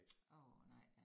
Åh nej da